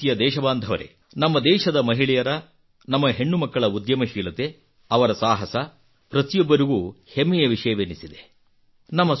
ನನ್ನ ಪ್ರೀತಿಯ ದೇಶಬಾಂಧವರೇ ನಮ್ಮ ದೇಶದ ಮಹಿಳೆಯರ ನಮ್ಮ ಹೆಣ್ಣು ಮಕ್ಕಳ ಉದ್ಯಮಶೀಲತೆ ಅವರ ಸಾಹಸ ಪ್ರತಿಯೊಬ್ಬರಿಗೂ ಹೆಮ್ಮೆಯ ವಿಷಯವೆನಿಸಿದೆ